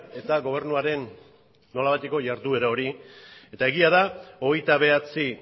eta gobernuaren nolabaiteko jarduera hori eta egia da hogeita bederatzi